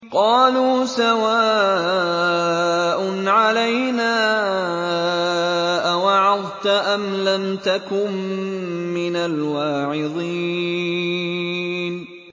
قَالُوا سَوَاءٌ عَلَيْنَا أَوَعَظْتَ أَمْ لَمْ تَكُن مِّنَ الْوَاعِظِينَ